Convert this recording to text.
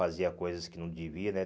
Fazia coisas que não devia, né?